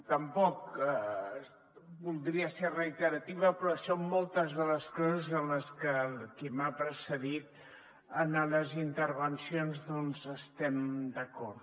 tampoc voldria ser reiterativa però són moltes les coses en les que qui m’ha precedit en les intervencions doncs estem d’acord